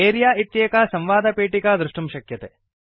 अरेऽ इत्येका संवादपेटिका द्रष्टुं शक्यते